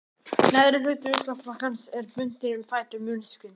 Neðri hluti ullarfrakkans er bundinn um fætur munksins.